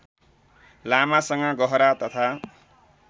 लामासँग गहरा तथा